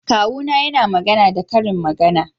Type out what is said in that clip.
Kawuna yana magana da karin magana